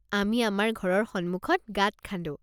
আমি অমাৰ ঘৰৰ সন্মুখত গাঁত খান্দো।